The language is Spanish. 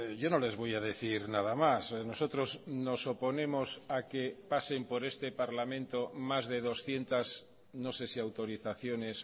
yo no les voy a decir nada más nosotros nos oponemos a que pasen por este parlamento más de doscientos no sé si autorizaciones